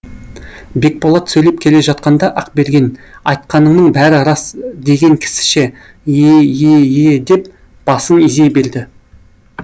бекболат сөйлеп келе жатқанда ақберген айтқаныңның бәрі рас деген кісіше е е е деп басын изей берді